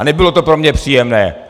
A nebylo to pro mě příjemné.